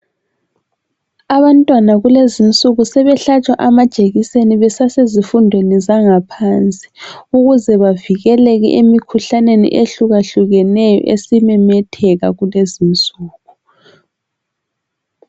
Abantwana kulezinsuku sebehlatshwa amajekiseni basesezifundweni zangaphansi ukuze bavikele emikhuhlaneni ehlukahlukeneyo esimemetheka kulezinsuku